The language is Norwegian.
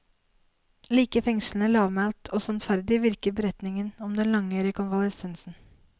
Like fengslende, lavmælt og sannferdig virker beretningen om den lange rekonvalesensen.